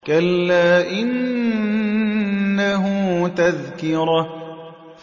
كَلَّا إِنَّهُ تَذْكِرَةٌ